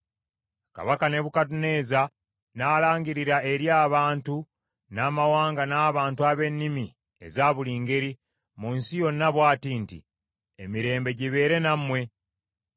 Kabaka Nebukadduneeza n’alangirira eri abantu, n’amawanga n’abantu ab’ennimi eza buli ngeri, mu nsi yonna bw’ati nti: Emirembe gibeere nammwe!